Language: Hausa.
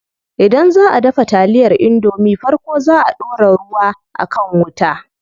Idan zaʼa dafa taliyar indomie farko zaa a ɗora ruwa a kan wuta.